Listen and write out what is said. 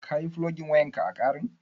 Ka yi fulogin wayan ƙa a ƙarin?